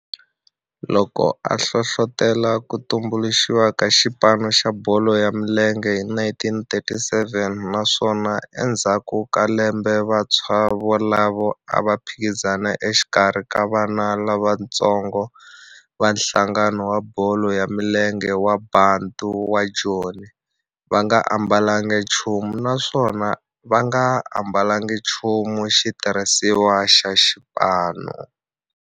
loko a hlohlotela ku tumbuluxiwa ka xipano xa bolo ya milenge hi 1937 naswona endzhaku ka lembe vantshwa volavo a va phikizana exikarhi ka vana lavatsongo va nhlangano wa bolo ya milenge wa Bantu wa Joni va nga ambalanga nchumu naswona va nga ambalanga nchumu xitirhisiwa xa xipano.